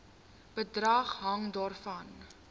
bedrag hang daarvan